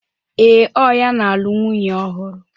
Ee, o ya na-alụ nwunye ohuru.